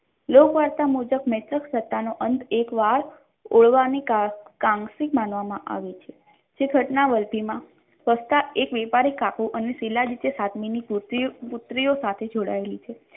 લોકપાલકના મૈત્ર સત્તાનો અંત એકવાર ઓળવાની કારણે કામસિંગ માનવામાં આવે છે જે ઘટના વલભીમાં વસતા એક વેપારી કાકો અને શીલાજીતની સાથે પૂર્તિઓ સાથે પુત્રીઓ સાથે જોડાયેલ છે.